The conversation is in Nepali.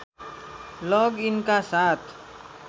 लग इनका साथ